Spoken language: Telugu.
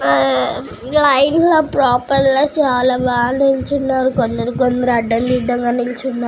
హా లైన్ లో పేపర్ లో బాగా నిలోచొని అడగ దినగా బాగా నిలుచోనారు వాలు కూడా